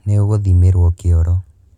Nĩ ũgũthimĩrwo kĩoro.